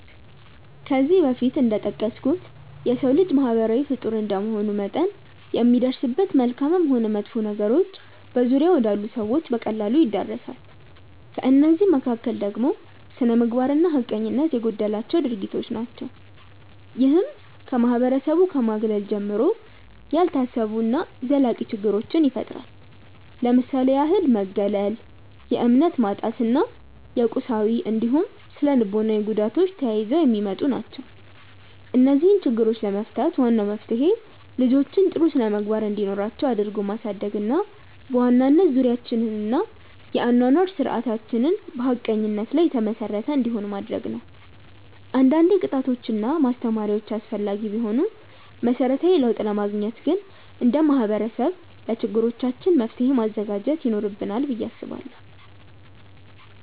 ከዚህ በፊት እንደጠቀስኩት የሰው ልጅ ማህበራዊ ፍጡር እንደመሆኑ መጠን የሚደርስበት መልካምም ሆን መጥፎ ነገሮች በዙሪያው ወዳሉ ሰዎች በቀላሉ ይዳረሳል። ከእነዚህ መካከል ደግሞ ስነምግባር እና ሀቀኝነት የጎደላቸው ድርጊቶች ናቸው። ይህም ከማህበረሰቡ ከማግለል ጀምሮ፣ ያልታሰቡ እና ዘላቂ ችግሮችን ይፈጥራል። ለምሳሌ ያህል መገለል፣ የእምነት ማጣት እና የቁሳዊ እንዲሁም ስነልቦናዊ ጉዳቶች ተያይዘው የሚመጡ ናቸው። እነዚህን ችግሮች ለመፍታት ዋናው መፍትሄ ልጆችን ጥሩ ስነምግባር እንዲኖራቸው አድርጎ ማሳደግ እና በዋናነት ዙሪያችንን እና የአኗኗር ስርዓታችንን በሀቀኝነት ላይ የተመሰረተ እንዲሆን ማድረግ ነው። አንዳንዴ ቅጣቶች እና ማስተማሪያዎች አስፈላጊ ቢሆኑም መሰረታዊ ለውጥ ለማግኘት ግን እንደ ማህበረሰብ ለችግሮቻችን መፍትሔ ማዘጋጀት ይኖርብናል ብዬ አስባለሁ።